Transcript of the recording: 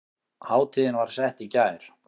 Hátíðin var sett í gær